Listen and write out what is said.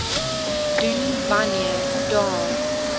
doen wanneer daar